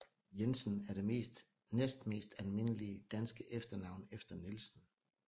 Jensen er det næstmest almindelige danske efternavn efter Nielsen